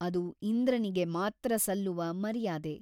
ಅದು ಇಂದ್ರನಿಗೆ ಮಾತ್ರ ಸಲ್ಲುವ ಮರ್ಯಾದೆ.